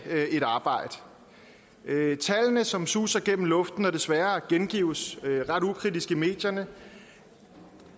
et arbejde tallene som suser gennem luften og som desværre gengives ret ukritisk i medierne